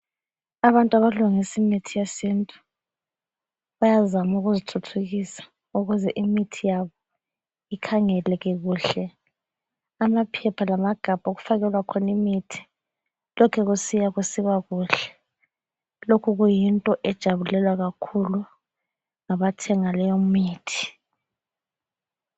Abantu abalungisa imithi yesintu bayazama ukuzithuthukisa ukuze imithi yabo ikhangeleke kuhle. Amaphepha lamagabha okufakelwa khona imithi lokhe kusiya kusiba kuhle. Lokhu kuyinto ejabulelwa kakhulu ngabathenga leyo mithi.